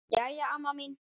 Jæja, amma mín.